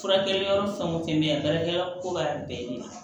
Furakɛli yɔrɔ fɛn o fɛn bɛ yen baarakɛ yɔrɔ ko b'a bɛɛ de la